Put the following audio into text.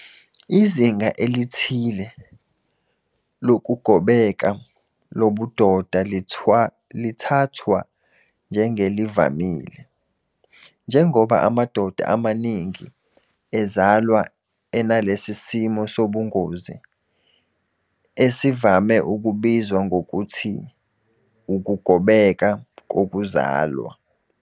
Izinga elithile lokugobeka lobudoda lithathwa njengelivamile, njengoba amadoda amaningi ezalwa enalesi simo sobungozi, esivame ukubizwa ngokuthi ukugobeka kokuzalwa.